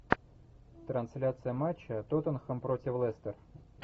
трансляция матча тоттенхэм против лестер